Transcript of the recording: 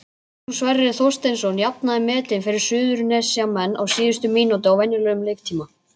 Magnús Sverrir Þorsteinsson jafnaði metin fyrir Suðurnesjamenn á síðustu mínútu í venjulegum leiktíma.